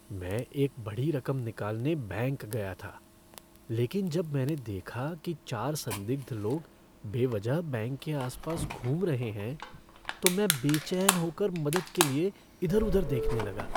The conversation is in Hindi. मैं एक बड़ी रकम निकालने बैंक गया था, लेकिन जब मैंने देखा कि चार संदिग्ध लोग बेवजह बैंक के आस पास घूम रहे हैं, तो मैं बेचैन होकर मदद के लिए इधर उधर देखने लगा।